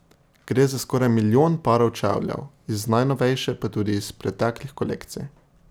Gre za skoraj milijon parov čevljev iz najnovejše pa tudi iz preteklih kolekcij.